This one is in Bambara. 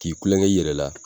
K'i kulokɛ i yɛrɛ la